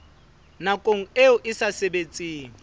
nakong eo e sa sebetseng